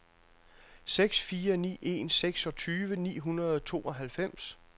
seks fire ni en seksogtyve ni hundrede og tooghalvfems